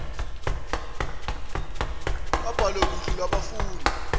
abhalwe kuhlu lwabafundi